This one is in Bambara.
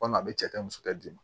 Walima a bɛ cɛ ka musoya d'i ma